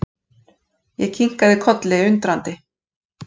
Ég kinkaði kolli, undrandi.